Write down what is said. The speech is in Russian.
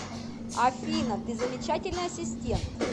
афина ты замечательный ассистент